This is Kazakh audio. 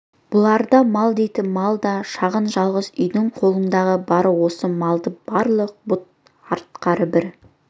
бұларда мал дейтін мал да шағын жалғыз үйдің қолындағы бары осы малды бағарлық бұт артары бір